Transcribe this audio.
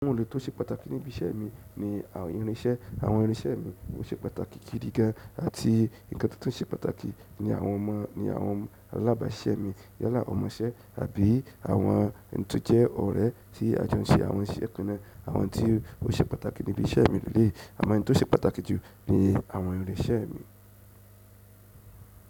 Ohun tó ṣe pàtàkì níbí iṣẹ́ mi ni àwọn irinṣẹ́. Àwọn irinṣẹ́ mi ó ṣe pàtàkì gidi gán. Àti ǹkan tó ṣe pàtàkì ni àwọn ọmọ ni àwọn alábàáṣẹ́ mi yálà ọmọṣẹ́ àbí àwọn tó jẹ́ ọ̀rẹ́ tí a jọ ń ṣe àwọn iṣẹ́ kan náà. Àwọn tí ó ṣe pàtàkì níbí iṣẹ́ mi ni eleyi. A mo oun to se pàtàkì ju ni àwọn irin iṣẹ́ mi.